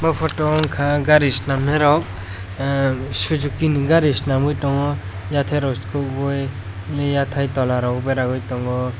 o poto wngka gari solamnai rok emm suzuki ni gari sonamui tango yatek rok sokogoi yatai tola tangoi.